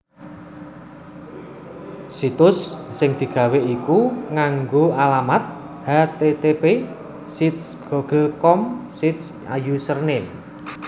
Situs sing digawé iku nganggé alamat http //sites google com/site/username/